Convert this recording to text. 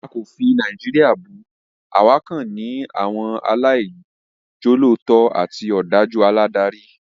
A kò fi Nàìjíríà bù, àwa kàn ní àwọn aláìjolótó àti òdájú aládarí